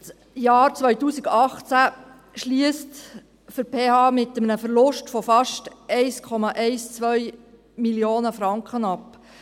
Das Jahr 2018 schliesst für die PH mit einem Verlust von fast 1,12 Mio. Franken ab.